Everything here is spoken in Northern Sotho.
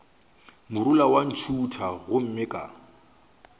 morula wa ntšhutha gomme ka